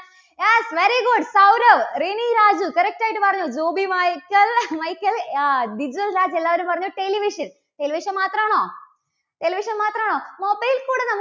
yes very good Sourav, Rini Raju correct ആയിട്ട് പറയൂ. ജൂബി മൈക്കൽ~മൈക്കൽ ആഹ് ദിജിൽ രാജ് എല്ലവരും പറഞ്ഞു, television, television മാത്രാണോ? television മാത്രാണോ? mobile കൂടി നമ്മു~